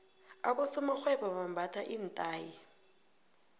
abosomarhwebo bambatha iinthayi